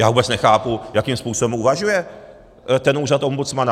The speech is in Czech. Já vůbec nechápu, jakým způsobem uvažuje ten úřad ombudsmana.